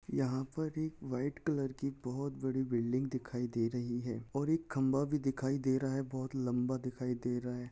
यहाँ पर एक व्हाइट कलर की बहुत बिल्डिंग दिखाई दे रही है और एक खंबा भी दिखाई दे रहा है बहुत लंबा दिखाई दे रहा है।